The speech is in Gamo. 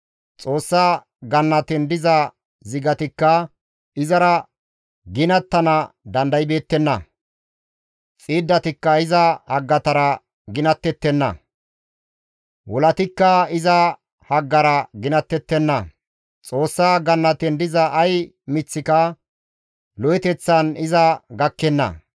Xoossa gannaten diza zigatikka izara ginattana dandaybeettenna; xiiddatikka iza haggatara ginattettenna; wolatikka iza haggara ginattettenna; Xoossa gannaten diza ay miththika lo7eteththan iza gakkenna.